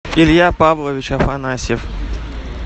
илья павлович афанасьев